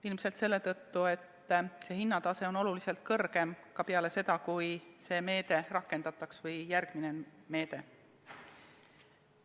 Ilmselt selle tõttu, et see hinnatase on oluliselt kõrgem ka peale seda, kui see või järgmine meede rakendatakse.